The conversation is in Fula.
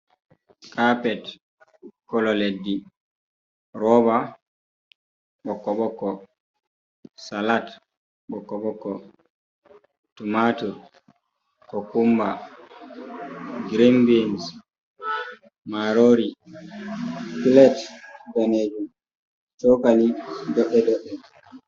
Kapet, kolo leddi roba ɓokko-ɓokko, salat ɓokko ɓokko, tumatu ko kumba, girin bins, marori pilet danejum, cokali doɗɗe doɗɗe.